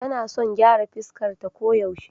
Tana son gyara fuskarta koyaushe.